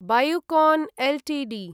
Biocon Ltd